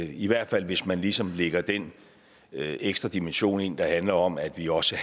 i hvert fald hvis man ligesom lægger den ekstra dimension ind der handler om at vi også